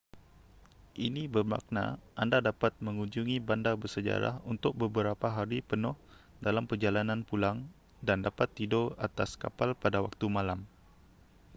ini bermakna anda dapat mengunjungi bandar bersejarah untuk beberapa hari penuh dalam perjalanan pulang dan dapat tidur atas kapal pada waktu malam